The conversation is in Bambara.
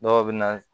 Dɔw bɛ na